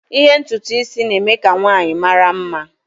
ime ntutu isi na-eme ka nwanyị mara mma